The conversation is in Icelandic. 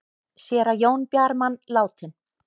Séra Jón Bjarman látinn